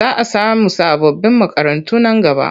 Za a samu sababbin makarantu nan gaba.